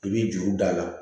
I b'i juru da